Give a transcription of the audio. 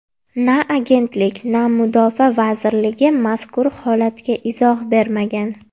Na agentlik, na mudofaa vazirligi mazkur holatga izoh bermagan.